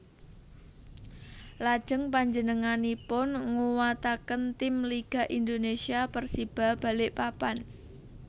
Lajeng panjenenganipun nguwataken tim Liga Indonesia Persiba Balikpapan